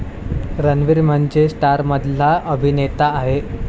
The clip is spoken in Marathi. रणवीर म्हणजे स्टारमधला अभिनेता आहे.